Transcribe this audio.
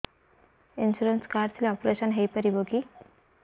insurance card ଥିଲେ operation ହେଇପାରିବ କି